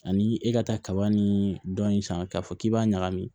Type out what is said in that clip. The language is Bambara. Ani e ka taa kabani dɔɔnin san k'a fɔ k'i b'a ɲagami